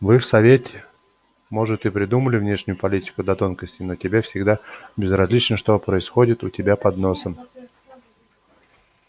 вы в совете может и придумали внешнюю политику до тонкостей но тебе всегда безразлично что происходит у тебя под носом